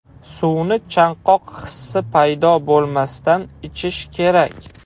Suvni chanqoq hissi paydo bo‘lmasdan ichish kerak.